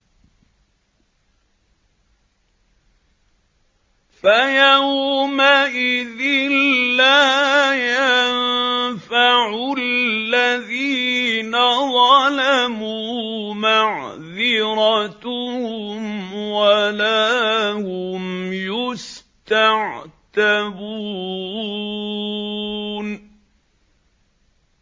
فَيَوْمَئِذٍ لَّا يَنفَعُ الَّذِينَ ظَلَمُوا مَعْذِرَتُهُمْ وَلَا هُمْ يُسْتَعْتَبُونَ